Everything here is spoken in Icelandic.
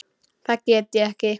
Það get ég ekki.